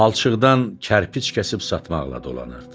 Palçıqdan kərpic kəsib satmaqla dolanırdı.